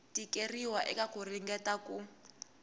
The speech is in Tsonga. tikeriwa eka ku ringeta ku